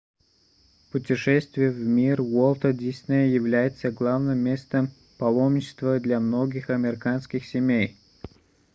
путешествие в мир уолта диснея является главным местом паломничества для многих американских семей